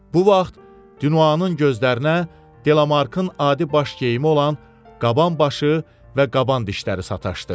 Bu vaxt Dinuanın gözlərinə Delamarkın adi baş geyimi olan qaban başı və qaban dişləri sataşdı.